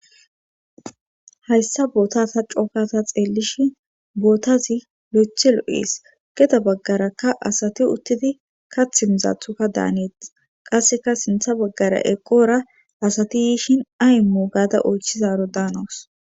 hayssa bootata cookata xeelishi bootazi lo7ethi lo7es geda baggarakka asati uttidi kathimizathuka daaneeth qasseka sintha baggara eqora asati yiishin aymu gaada oychizaro daanawus